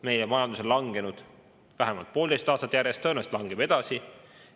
Meie majandus on langenud vähemalt poolteist aastat järjest ja tõenäolist langeb edasi.